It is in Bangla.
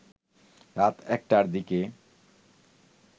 রাত ১টার দিকে